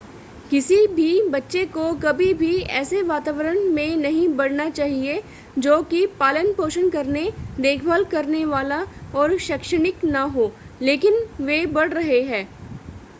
किसी भी बच्चे को कभी भी ऐसे वातावरण में नहीं बढ़ना चाहिए जो कि पालन पोषण करने देखभाल करने वाला और शैक्षणिक न हो लेकिन वे बढ़ रहे हैं